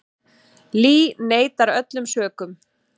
Lee neitar öllum sökum.